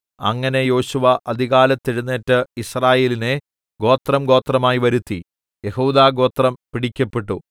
അങ്ങനെ യോശുവ അതികാലത്ത് എഴുന്നേറ്റ് യിസ്രായേലിനെ ഗോത്രംഗോത്രമായി വരുത്തി യെഹൂദാഗോത്രം പിടിക്കപ്പെട്ടു